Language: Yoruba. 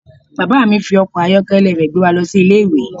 Bàbá mi fi ọkọ̀ ayọ́kẹ́lẹ́ rẹ̀ gbé wa lọ sí Ilé-ìwé.